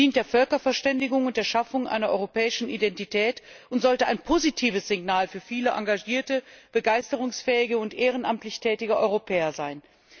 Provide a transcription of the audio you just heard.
Es dient der Völkerverständigung und der Schaffung einer europäischen Identität und sollte ein positives Signal für viele engagierte, begeisterungsfähige und ehrenamtlich tätige Europäer sein.